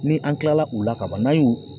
Ni an kilala u la ka ban n'an y'u